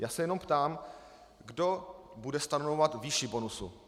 Já se jenom ptám, kdo bude stanovovat výši bonusu?